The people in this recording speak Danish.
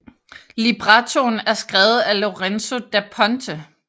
Librettoen er skrevet af Lorenzo da Ponte